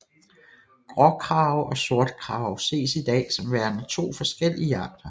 Gråkrage og sortkrage ses i dag som værende to forskellige arter